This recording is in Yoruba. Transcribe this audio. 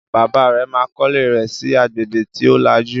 Bàbá rẹ̀ ma kọ́lé rẹ̀ sí agbègbè tí ó lajú